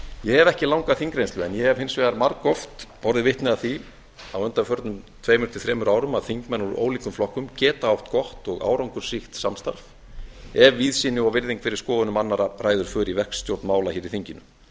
ég hef ekki langa þingreynslu en ég hef hins vegar margoft orðið vitni að því á undanförnum tveimur til þremur árum að þingmenn úr ólíkum flokkum geta átt gott og árangursríkt samstarf ef víðsýni og virðing fyrir skoðunum annarra ræður för í verkstjórn mála hér í þinginu